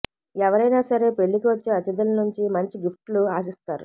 ఎవరైన సరే పెళ్లికి వచ్చే అతిథుల నుంచి మంచి గిఫ్ట్లు ఆశిస్తారు